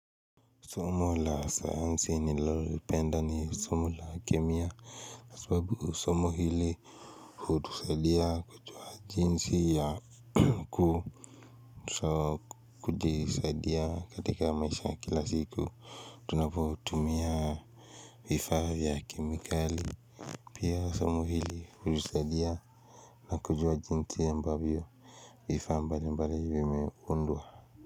Somo la sayansi nilolipenda ni somo la kemiya sababu somo hili hutusaidia kujua jinsi ya ku sa kujisaidia katika maisha kila siku Tunapo tumia vifaa vya kemikali Pia somo hili hutusaidia na kujua jinsi ambavyo vifaa vya mbali mbali vimeundwa.